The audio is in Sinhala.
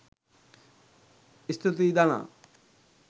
ස්තුතියි ධනා!